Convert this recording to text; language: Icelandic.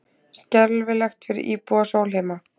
Skelfilegt fyrir íbúa Sólheima